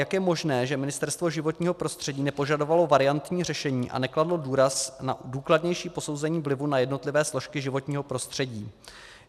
Jak je možné, že Ministerstvo životního prostředí nepožadovalo variantní řešení a nekladlo důraz na důkladnější posouzení vlivů na jednotlivé složky životního prostředí?